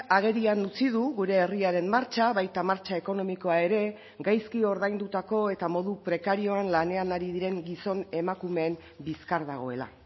agerian utzi du gure herriaren martxa baita martxa ekonomikoa ere gaizki ordaindutako eta modu prekarioan lanean ari diren gizon emakumeen bizkar dagoela